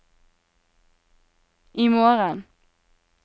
imorgen